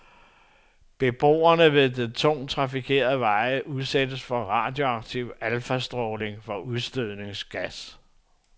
Beboere ved tungt trafikerede veje udsættes for radioaktiv alfastråling fra udstødningsgas.